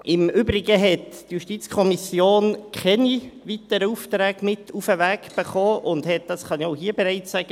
Im Übrigen hat die JuKo keine weiteren Aufträge mit auf den Weg bekommen und hat auch keine weiteren Änderungsvorschläge;